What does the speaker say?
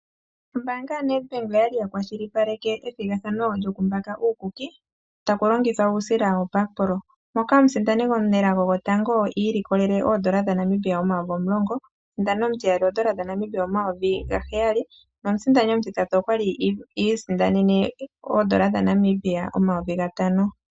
Ombaanga yoNedBank oyali ya kwashilipaleke ethigathano lyokumbaka uukuki takulongithwa uusila woBakpro moka omusindani omunelago gwotango i ilikolele oN$10000, omusindani omutiyali oN$7000 nomusindani omutitatu okwali i isindanena oN$5000.